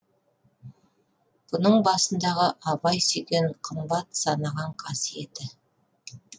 бұның басындағы абай сүйген қымбат санаған қасиеті